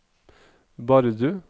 Bardu